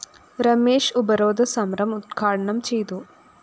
രമേശ് ഉപരോധ സമരം ഉദ്ഘാടനം ചെയ്തു